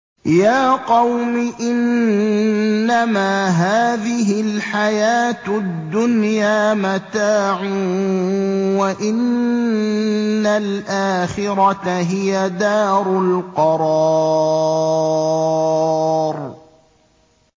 يَا قَوْمِ إِنَّمَا هَٰذِهِ الْحَيَاةُ الدُّنْيَا مَتَاعٌ وَإِنَّ الْآخِرَةَ هِيَ دَارُ الْقَرَارِ